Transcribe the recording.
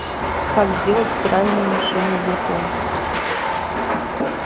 как сделать стиральную машину веко